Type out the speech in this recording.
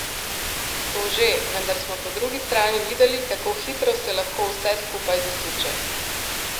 To že, vendar smo po drugi strani videli, kako hitro se lahko vse skupaj zasuče.